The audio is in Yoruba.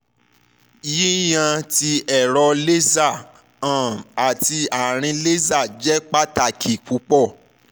yiyan ti ẹrọ laser um ati aarin laser jẹ pataki pupọ